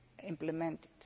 provision implemented.